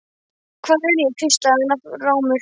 Hvar er ég? hvíslaði hann rámur.